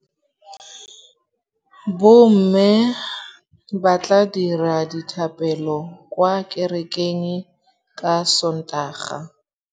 Bommê ba tla dira dithapêlô kwa kerekeng ka Sontaga.